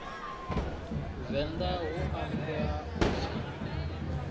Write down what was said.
venḓa hu ambwa u pfi